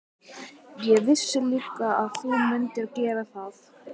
Ég vissi líka að þú mundir gera það.